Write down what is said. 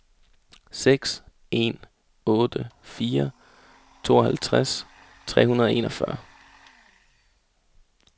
seks en otte fire tooghalvtreds tre hundrede og enogfyrre